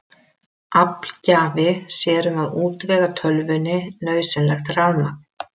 Aflgjafi sér um að útvega tölvunni nauðsynlegt rafmagn.